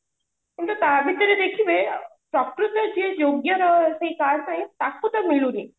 କିନ୍ତୁ ତା ଭିତରେ ଦେଖିବେ ପ୍ରକୃତ ଯିଏ ଯୋଗ୍ୟର ସେଇ card ପାଇଁ ତାକୁ ତ ମିଳୁନି